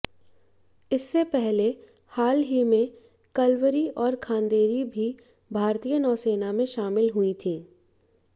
इससे पहले हाल ही में कलवरी और खांदेरी भी भारतीय नौसेना में शामिल हुई थी